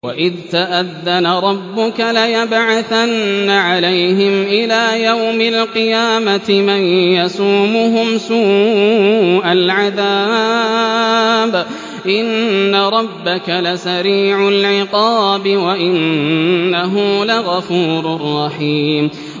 وَإِذْ تَأَذَّنَ رَبُّكَ لَيَبْعَثَنَّ عَلَيْهِمْ إِلَىٰ يَوْمِ الْقِيَامَةِ مَن يَسُومُهُمْ سُوءَ الْعَذَابِ ۗ إِنَّ رَبَّكَ لَسَرِيعُ الْعِقَابِ ۖ وَإِنَّهُ لَغَفُورٌ رَّحِيمٌ